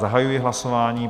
Zahajuji hlasování.